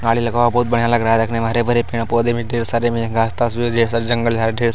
गाड़ी लगा हुआ बहुत बढ़िया लग रहा है देखने में हरे-भरे पेड़ पौधे भी ढेर सारे में घास-तास जो है ढेर सारे जंगल झाड़ ढेर --